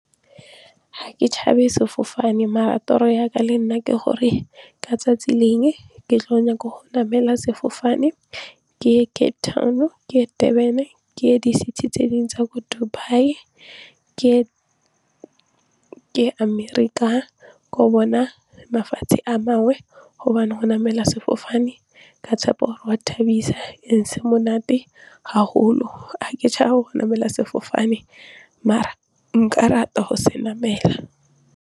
Ga ke tshabe sefofane mara toro yaka le nna ke gore ka 'tsatsi lengwe ke tlo nyaka go namela sefofane ke ye Cape Town, ke ye Durban, ke ye di-city tse dingwe tsa ko Dubai, ke ye Amerika ko bona mafatshe a mangwe gobane go namela sefofane ka tshepa gore gwa thabisa and-e se monate haholo ga ke tshabe go namela sefofane mare nka rata go se namela.